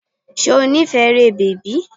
Ṣé o nífẹ̀ẹ́ eré bèbí?